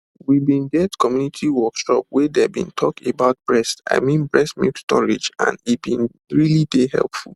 we been get community workshop wey dem been talk about breast i mean milk storage and e been really dey helpful